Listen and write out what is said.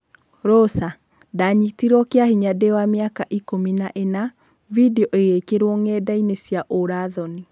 Rosa: 'Ndanyitirwo kĩa-hinya ndiwamĩaka ikũmi na-ĩna, vindioĩgĩkĩrwo ng'endainĩ cia urathoni'